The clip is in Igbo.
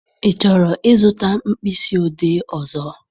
Ị chọrọ ịzụta mkpịsị odee ọzọ?